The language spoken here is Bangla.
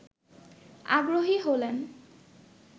আগ্রহী হলেন